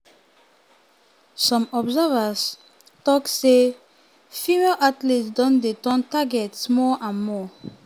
for 2022 at least 34 percent of women say dem don face physical violence na wetin one national survey tok.